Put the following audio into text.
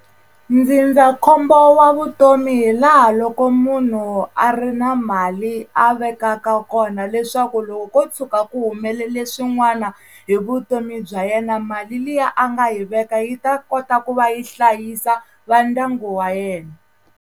Ndzindzakhombo wa vutomi hi laha loko munhu a ri na mali a vekaka kona leswaku loko ko tshuka ku humelele swin'wana hi vutomi bya yena mali liya a nga hi veka yi ta kota ku va yi hlayisa va ndyangu wa yena.